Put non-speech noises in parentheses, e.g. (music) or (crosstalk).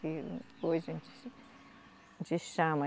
Que hoje (unintelligible) a gente chama.